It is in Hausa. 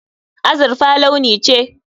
Azurfa launi ce.